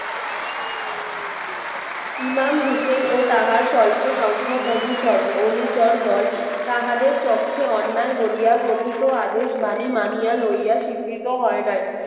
ইমাম হোসেন ও তাহার স্বল্প সংখ্যক অনুসরণ অনুচর দল তাহাদের চক্ষে অন্যায় বলিয়া গঠিত আদেশ বাণী মানিয়া লইয়া স্বীকৃত হয় নাই।